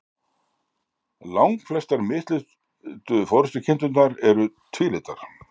Langflestar mislitu forystukindurnar eru tvílitar.